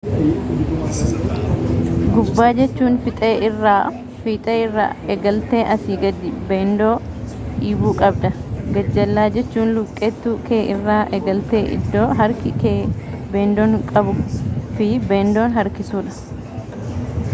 gubba jechuun fixee irraa egaltee asii gadi beendoo dhiibu qabda. gajjellaa jechuun luqeettu kee irra egalte iddo harki kee beendoo qabu fi beendoo harkiisuudha